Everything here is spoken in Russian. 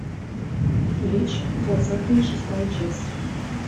блич двадцатая и шестая часть